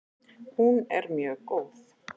Hún er mjög góð!